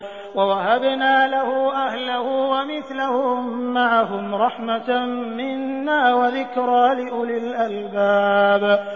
وَوَهَبْنَا لَهُ أَهْلَهُ وَمِثْلَهُم مَّعَهُمْ رَحْمَةً مِّنَّا وَذِكْرَىٰ لِأُولِي الْأَلْبَابِ